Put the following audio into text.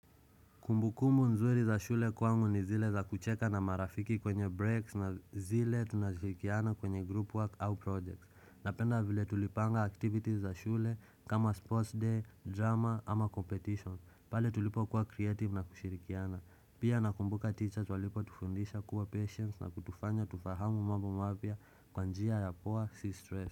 Kumbu kumbu nzuri za shule kwangu ni zile za kucheka na marafiki kwenye breaks na zile tunashirikiana kwenye group work au projects. Napenda vile tulipanga activities za shule kama sports day, drama ama competition pale tulipo kuwa creative na kushirikiana. Pia nakumbuka teachers walipo tufundisha kuwa patience na kutufanya tufahamu mambo mapyia Kwanjia ya poa si stress.